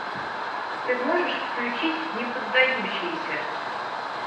ты можешь включить неподдающиеся